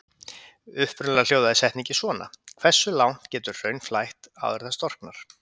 Upprunalega hljóðaði spurningin svona: Hversu langt getur hraun flætt áður en það storknar?